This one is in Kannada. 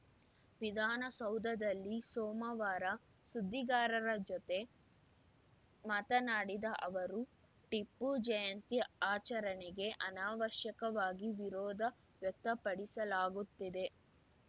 ವಿಧಾನಸೌಧದಲ್ಲಿ ಸೋಮವಾರ ಸುದ್ದಿಗಾರರ ಜೊತೆ ಮಾತನಾಡಿದ ಅವರು ಟಿಪ್ಪು ಜಯಂತಿ ಆಚರಣೆಗೆ ಅನವಶ್ಯಕವಾಗಿ ವಿರೋಧ ವ್ಯಕ್ತಪಡಿಸಲಾಗುತ್ತಿದೆ